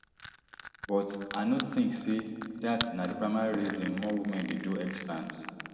but i no tink say dat na di primary reason more women dey do explant